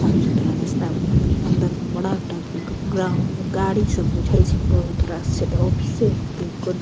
साफ-सुथरा रास्ता बुझा रहलो अंदर में बड़ा टा के ग्राउंड गाड़ी सब बूझाय छै बहुत रास छै इ ते ऑफिसे हैते कुनू।